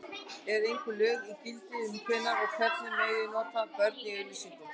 Eru einhver lög í gildi um hvenær og hvernig nota megi börn í auglýsingum?